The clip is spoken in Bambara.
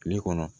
Kile kɔnɔ